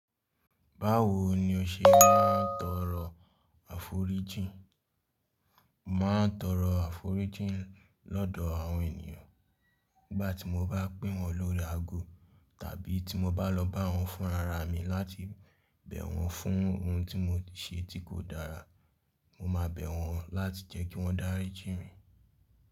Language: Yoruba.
Báwo ni o ṣe ń tọrọ àforíjìn? Màá tọrọ àforíjìn lọ́dọ̀ àwọn ènìyàn nígbà tí mo bá pè wọ́n lórí ago tàbí tí mo bá lọ bá wọ́n fúnra ra mi láti bẹ̀ wọ́n fún ohun tí mo ti ṣe tí kò dára. Mo ma bẹ̀ wọ́n láti jẹ́ kí wọ́n darí jí mi.